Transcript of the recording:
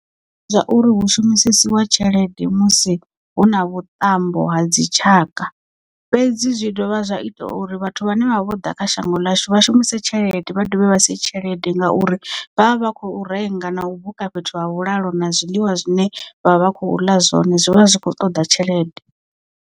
Zwauri hu shumisesiwa tshelede musi hu na vhuṱambo ha dzi tshaka, fhedzi zwi dovha zwa ita uri vhathu vhane vha vho ḓa kha shango ḽashu vha shumise tshelede vha dovhe vha sie tshelede ngauri vha vha vha khou renga na u buka fhethu ha vhulalo na zwiḽiwa zwine vha vha khou ḽa zwone zwivha zwi kho ṱoḓa tshelede.